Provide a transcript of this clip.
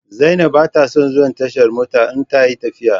Zainab ba ta son zuwa tashar mota in ta yi tafiya.